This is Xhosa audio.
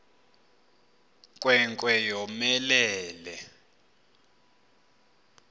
nkwe nkwe yomelele